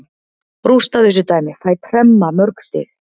Rústa þessu dæmi, fæ tremma mörg stig.